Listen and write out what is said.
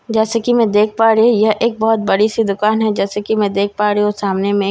जैसे कि मैं देख पा रही हूं यह एक बहुत बड़ी सी दुकान है जैसे कि मैं देख पा रही हूं सामने में